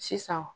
Sisan